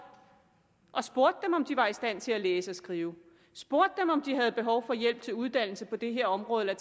og spurgte dem om de var i stand til at læse og skrive spurgte dem om de havde behov for hjælp til uddannelse på det her område eller